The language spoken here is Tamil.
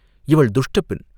இவள் துஷ்டப் பெண்!